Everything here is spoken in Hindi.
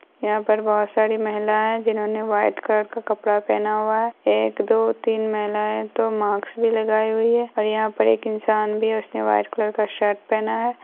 यहाँ पर बहुत सारी महिलाएं जिन्होंने व्हाइट कलर का कपड़ा पहना हुआ है एक दो तीन महिलाएं तो मास्क भी लगाए हुई है और यहाँ पर एक इंसान भी है उसने व्हाइट कलर का शर्ट पहना है।